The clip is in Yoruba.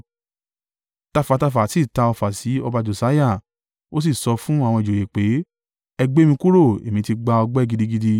Tafàtafà sì ta ọfà sí ọba Josiah, ó sì sọ fún àwọn ìjòyè pé, “Ẹ gbé mi kúrò, èmi ti gba ọgbẹ́ gidigidi.”